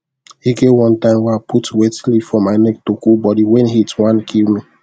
e get one time wey i put wet leaf for my neck to cool body when heat wan kill me